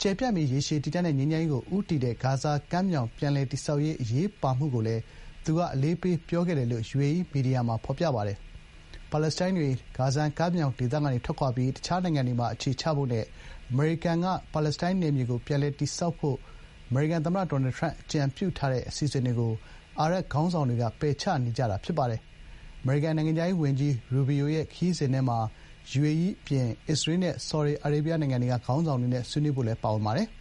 ကျယ်ပြန့်ပြီး ရေရှည်တည်တံ့တဲ့ ငြိမ်းချမ်းရေးကို ဦးတည်တဲ့ ဂါဇာကမ်းမြောင် ပြန်လည်တည်ဆောက်ရေး အရေးပါမှုကိုလည်း သူက အလေးပေးပြောခဲ့တယ်” လို့ ယူအေအီး မီဒီယာမှာ ဖော်ပြပါတယ်။ ပါလက်စတိုင်းတွေ ဂါဇာကမ်းမြောင်ဒေသကနေ ထွက်ခွာပြီး တခြားနိုင်ငံတွေမှာ အခြေချဖို့နဲ့ အမေရိကန်က ပါလက်စတိုင်းနယ်မြေကို ပြန်လည်တည်ဆောက်ဖို့ အမေရိကန်သမ္မတ Donald Trump က အကြံပြုထားတဲ့ အစီအစဉ်တွေကို အာရပ်ခေါင်းဆောင်တွေက ပယ်ချနေကြတာ ဖြစ်ပါတယ်။ အမေရိကန်နိုင်ငံခြားရေးဝန်ကြီး ရူဘီယိုရဲ့ ခရီးစဉ်ထဲမှာ ယူအေအီး အပြင် အစ္စရေးနဲ့ ဆော်ဒီအာရေဗျနိုင်ငံတွေက ခေါင်းဆောင်တွေနဲ့ ဆွေးနွေးဖို့လည်း ပါဝင်ပါတယ်။